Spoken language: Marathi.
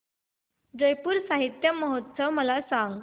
जयपुर साहित्य महोत्सव मला सांग